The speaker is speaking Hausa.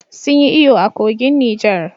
Sun yi iyo a kogin Niger